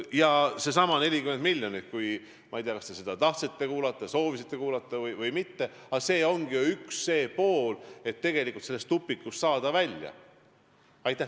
Ja seesama 40 miljonit – ma ei tea, kas te seda tahtsite kuulda või mitte, aga see ongi ju üks samm, et tegelikult sellest tupikust välja saada.